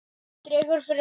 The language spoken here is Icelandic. Dregur fyrir sólu